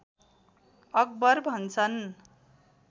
acquire भन्छन्